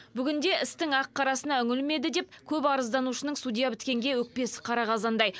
бүгінде істің ақ қарасына үңілмеді деп көп арызданушының судья біткенге өкпесі қара қазандай